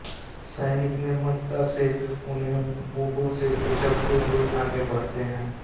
सैनिक निर्ममता से उन्हें बूटों से कुचलते हुए आगे बढ़ते हैं